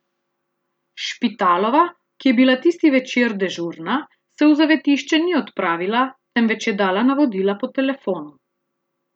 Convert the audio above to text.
Špitalova, ki je bila tisti večer dežurna, se v zavetišče ni odpravila, temveč je dala navodila po telefonu.